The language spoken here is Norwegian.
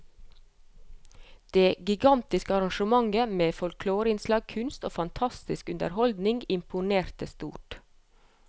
Det gigantiske arrangementet med folkloreinnslag, kunst og fantastisk underholdning imponerte stort.